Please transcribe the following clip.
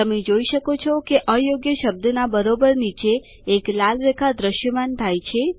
તમે જોઈ શકો છો કે અયોગ્ય શબ્દના બરોબર નીચે એક લાલ રેખા દ્રશ્યમાન થાય છે